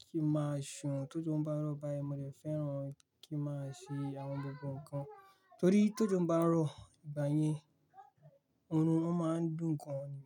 kí n máa ṣe tójò ń báń rọ̀ báyìí mo dẹ̀ fẹ́ràn kí n máa ṣe àwọn gbogbo nǹkan torí tójò ń bá ń rọ̀ ìgbà yẹn oorun ó máa ń dùn gan ni.